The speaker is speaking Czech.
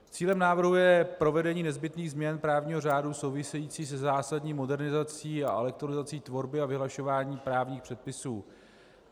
Cílem návrhu je provedení nezbytných změn právního řádu souvisejících se zásadní modernizací a elektronizací tvorby a vyhlašování právních předpisů.